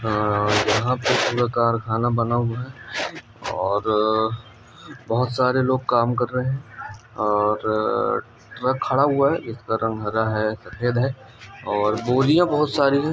यंहा पर खाना बना हुआ है और बोहत सारे लोग काम कर रहे है और ट्रक खड़ा हुआ है जिसका रंग हरा है सफेद है और बोरिया बोहत सारी है ।